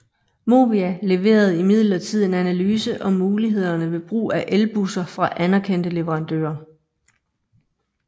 Movia leverede imidlertid en analyse om mulighederne ved brug af elbusser fra anerkendte leverandører